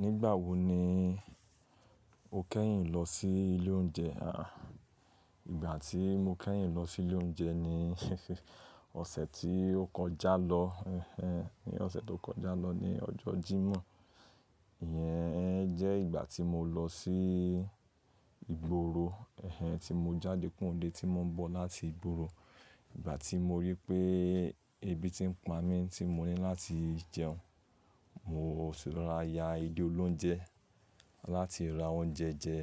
Nígbà wo ni o kẹ́yìn lọ sí ilé oúnjẹ? À, ìgbà tí mo kẹ́yìn lọ sí ilé oúnjẹ ni ọ̀sẹ̀ tí ó kọjá lọ. Ẹ̀hen, ní ọ̀sẹ̀ tó kọjá lọ ni ọjọ́ Jímọ̀. Ìyẹn jẹ́ ìgbà tí mo lọ sí ìgboro. Ẹ̀hen, tí mo jáde kúrò n le tí mo ń bọ̀ láti ìgboro. Ìgbà tí mo rí pé ebi tí ń pa mí tí mo ní láti jẹun, mo sì rora ya ilé olóúnjẹ láti ra oúnjẹ jẹ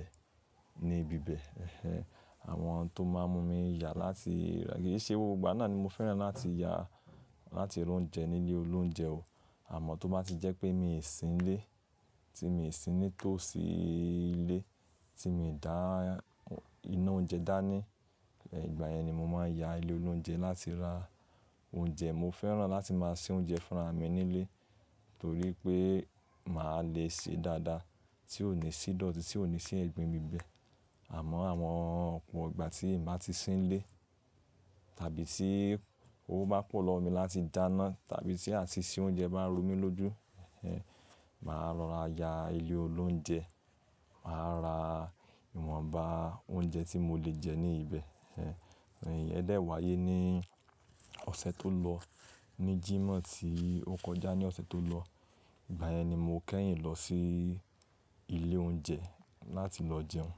ní ibíbẹ̀. Ẹ̀hen, àwọn tó máa n mú mi yà láti rà-- kì í ṣe gbogbo ìgbà náà ni mo fẹ́ràn láti yà láti ra oúnjẹ ní ilé olóúnjẹ o. Àmọ́ tó bá ti jẹ́ pé mi ò sí n lé, tí mi ò sí nítòsí ilé, tí mio dà iná oúnjẹ dá ní, ìgbà yẹn ni mo máa n ya ilé olóúnjẹ láti ra oúnjẹ. Mo fẹ́ràn láti máa se oúnjẹ fúnra mi nílé torí pé màá le se dáadáa tí ò ní sí idọ̀tí, tí ò ní sí ẹ̀gbin n bíbẹ̀. Àmọ́ àwọn ọ̀pọ̀ ìgbà tí n bá ti sí nílé tàbí tí owó bá pọ̀ lọ́ mi láti dáná tàbí tí àti se oúnjẹ bá n ro mi lójú, ẹ̀hen, màá rora ya ilé olóúnjẹ, màá ra ìwọ̀nba oúnjẹ tí mo le jẹ ní ìbẹ̀. Iyen dẹ̀ wáyé ní ọ̀sẹ̀ tó lọ, ní Jímọ̀ tí ó kọjá ní ọ̀sẹ̀ tó lọ? Ìgbà yẹn ni mo kẹ́yìn lọ sí ilé oúnjẹ láti lọ jẹun.